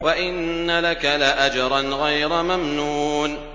وَإِنَّ لَكَ لَأَجْرًا غَيْرَ مَمْنُونٍ